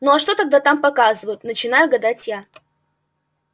ну а что тогда там показывают начинаю гадать я